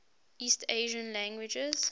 east asian languages